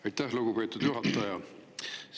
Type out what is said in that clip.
Aitäh, lugupeetud juhataja!